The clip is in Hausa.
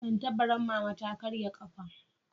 Tattabaran mama ta ƙarye kafa